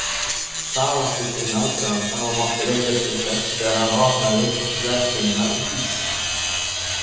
Það átti sinn aðdraganda og mátti rekja til þess þegar hann opnaði verslunina Vísi.